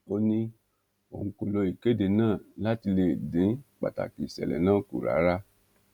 ó ní òun kò lo ìkéde náà láti lè dín pàtàkì ìṣẹlẹ náà kù rárá